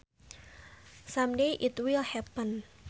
Some day it will happen